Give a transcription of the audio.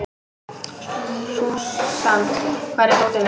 Súsan, hvar er dótið mitt?